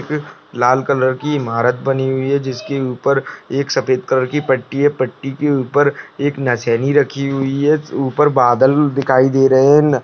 लाल colour की इमारत बनी हुई है जिसके ऊपर एक सफेद कलर की पट्टी है पट्टी के ऊपर एक नसैनी रखी हुई है ऊपर बादल दिखाई दे रहे है।